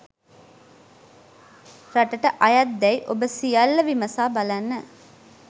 රටට අයත්දෑයි ඔබ සියල්ල විමසා බලන්න